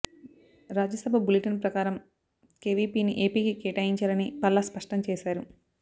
Rajya Sabha bulletin ప్రకారం కేవీపీని ఏపీకి కేటాయించారని పల్లా స్పష్టం చేశారు